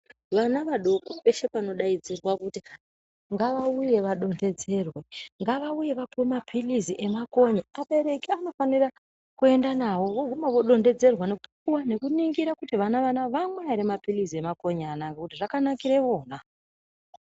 Vana vadoko peshe panodaidzirwa kuti, ngavauye vadontedzerwe. Ngavauye vapuwe maphilizi nemakonye. Abereki anofanire kuenda navo, voguma vodontedzerwa, nekupuwa, nekuningira kuti vana vanava, vamwa ere maphilizi emakonye anaya, ngekuti zvakanakire vona.